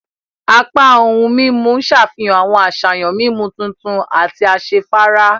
Apá ohùn mímú n ṣàfihàn awọn àṣàyàn mímú tuntun àti asefara.